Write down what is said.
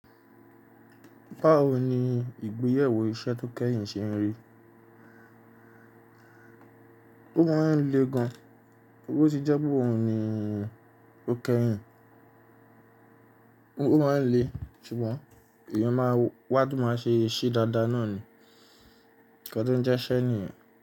Báwo ni ìgbéyẹ̀wò iṣẹ́ tó kẹ́yìn ṣe ń rí? Ó máa ń le gan, bó ti jẹ́ pe owu ni ó kẹ́yìn. Ó máa ń le ṣùgbọ́n èèyàn máa wá, to máa ṣe ṣe dáadáa náà ni, ikàń tó ń jẹ́ iṣẹ́ nìyẹn.